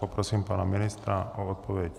Poprosím pana ministra o odpověď.